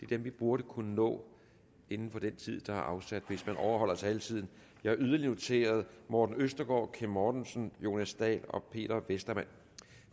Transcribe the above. dem vi burde kunne nå inden for den tid der er afsat hvis man overholder taletiden jeg har yderligere noteret morten østergaard kim mortensen jonas dahl og peter westermann